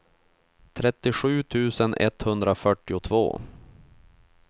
trettiosju tusen etthundrafyrtiotvå